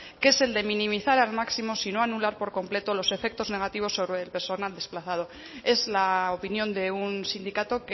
que es el de minimizar al máximo si no anular por completo los efectos negativos sobre el personal desplazado es la opinión de un sindicato